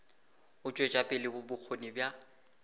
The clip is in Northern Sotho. go tšwetša pele bokgoni bja